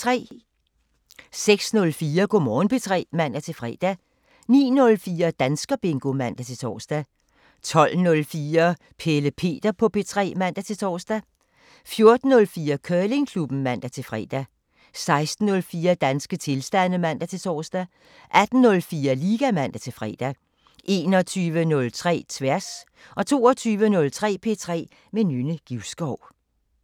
06:04: Go' Morgen P3 (man-fre) 09:04: Danskerbingo (man-tor) 12:04: Pelle Peter på P3 (man-tor) 14:04: Curlingklubben (man-fre) 16:04: Danske tilstande (man-tor) 18:04: Liga (man-fre) 21:03: Tværs 22:03: P3 med Nynne Givskov